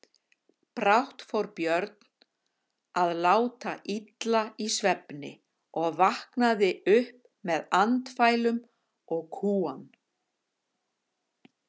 Brátt fór Björn að láta illa í svefni og vaknaði upp með andfælum og kúgan.